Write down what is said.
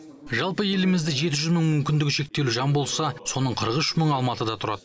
жалпы елімізде жеті жүз мың мүмкіндігі шектеулі жан болса соның қырық үш мыңы алматыда тұрады